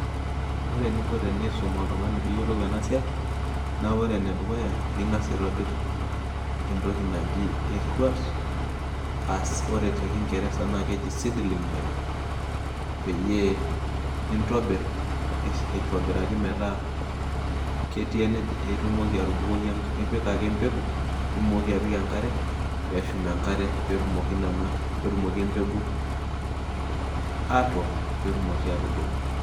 Ore eninko pee iisum oltung'ani peyie eyiolou ena siai naa ing'as aitobirr entoki naji erruat ashu ore tekingeresa naa keji seedling beds peyie nintobirr aitobiraki metaa ketii enejing' itumoki atubukoki enkare ipik ake embegu nimooki apik enkare pee eshum enkare pee etumoki nena, pee etumoki embegu atook pee etumoki aatubulu.